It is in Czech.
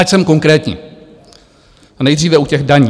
Ať jsem konkrétní, nejdříve u těch daní.